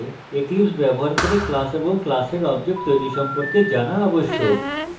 eclipse ব্যবহার করে class এবং class object তৈরী সম্পর্কে java আবশ্যক